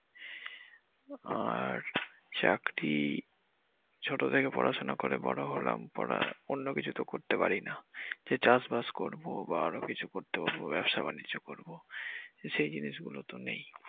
আর চাকরি ছোট থেকে পড়াশুনা করে বড় হলাম পরে অন্যকিছু করতে পারিনা যে চাষবাস করব বা আরো কিছু করতে পারব ব্যবসা বাণিজ্য করব সেই জিনিসগুলো তো নেই।